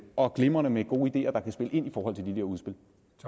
og glimrende med gode ideer der kan spille ind i forhold til de der udspil